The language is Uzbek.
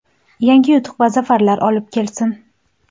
yangi yutuq va zafarlar olib kelsin!.